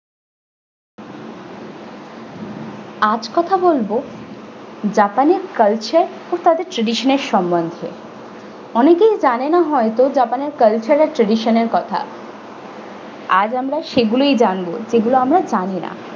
আজ কথা বলবো japan এর culture ও তাদের tradition এর সম্বন্ধে অনেকেই জানেনা হয়তো japan এর culture আর tradition এর কথা আজ আমরা সেগুলোই জানবো যেগুলো আমরা জানিনা।